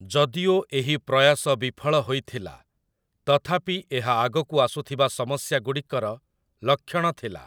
ଯଦିଓ ଏହି ପ୍ରୟାସ ବିଫଳ ହୋଇଥିଲା, ତଥାପି ଏହା ଆଗକୁ ଆସୁଥିବା ସମସ୍ୟାଗୁଡ଼ିକର ଲକ୍ଷଣ ଥିଲା ।